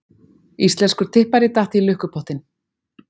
Íslenskur tippari datt í lukkupottinn